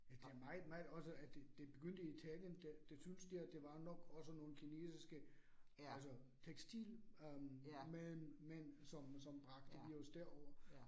Ja, det meget meget også, at det det begyndte i Italien, det det syntes der, det var nok også nogle kinesiske altså tekstil øh men men som som bragte virus derover